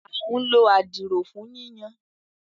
À ǹ ló à. dirọ fun yiyan.